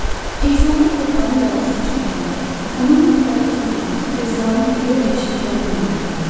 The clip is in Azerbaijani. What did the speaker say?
İnsanlar torpağın qayğısını çəkməli, onun müxtəlif zibillər və ziyanlı gübrə ilə çirkləndirməməlidirlər.